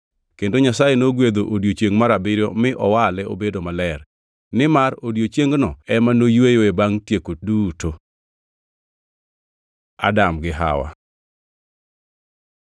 Kendo Nyasaye nogwedho odiechiengʼ mar abiriyo mi owale obedo maler, nimar odiechiengno ema noyweyoe bangʼ tieko duto. Adam gi Hawa